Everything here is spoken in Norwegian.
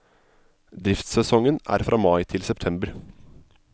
Driftssesongen er fra mai til september.